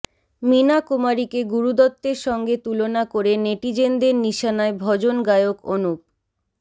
মীনা কুমারীকে গুরু দত্তের সঙ্গে তুলনা করে নেটিজেনদের নিশানায় ভজন গায়ক অনুপ